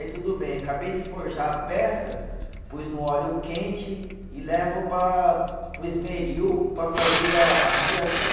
Aí tudo bem, acabei de forjar a peça, pus no óleo quente e levo para, para o esmeril para fazer a a fiação.